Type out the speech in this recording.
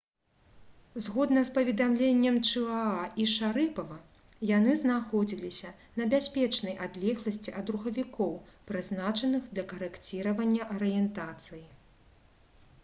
згодна з паведамленнем чыаа і шарыпава яны знаходзіліся на бяспечнай адлегласці ад рухавікоў прызначаных для карэкціравання арыентацыі